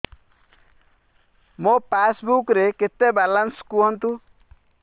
ମୋ ପାସବୁକ୍ ରେ କେତେ ବାଲାନ୍ସ କୁହନ୍ତୁ